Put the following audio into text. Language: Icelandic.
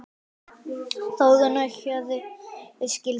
Þórunn og Hörður skildu.